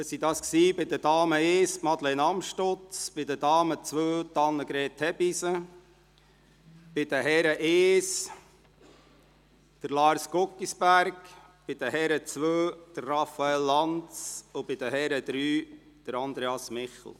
Es sind dies bei den Damen I Madeleine Amstutz, bei den Damen II Annegret Hebeisen, bei den Herren I Lars Guggisberg, bei den Herren II Raphael Lanz und bei den Herren III Andreas Michel.